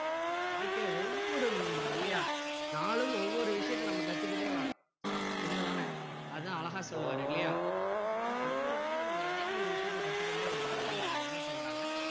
வாழ்கையில ஒவ்வொரு இல்லையா நாளும் ஒவ்வொரு விஷயத்தை நம்ம கத்துக்கிட்டே வரும் உண்மை தானே அதான் அழகா சொல்லுவாரு இல்லையா ஒவ்வொரு நாளும் நம்ம எதையாவது ஒரு விஷயத்தை கத்துக் கொண்டே இருக்கிறோம் அப்படிங்கிறததான் சொல்றாங்க